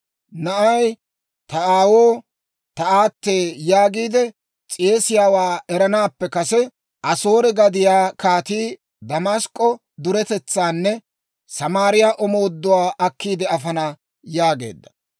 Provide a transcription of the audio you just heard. Na'ay, ‹Ta aawoo, ta aatee› yaagiide s'eesiyaawaa eranaappe kase, Asoore gadiyaa kaatii Damask'k'o duretetsaanne Samaariyaa omooduwaa akkiide afana» yaageedda.